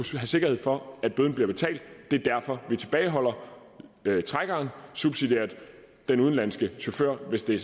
sikkerhed for at bøden bliver betalt og det er derfor man tilbageholder trækkeren subsidiært den udenlandske chauffør hvis det